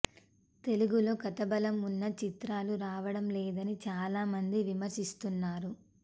తెలుగులో కథాబలం ఉన్న చిత్రాలు రావడం లేదని చాలా మంది విమర్శిస్తున్నారు